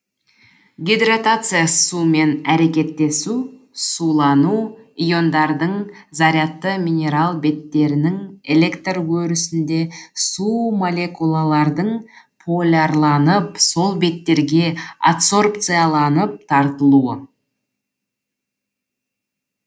гидратация сумен әрекеттесу сулану иондардың зарядты минерал беттерінің электр өрісінде су молекулалардың полярланып сол беттерге адсорбцияланып тартылуы